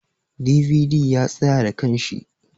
"DVD" ya tsaya da kanshi.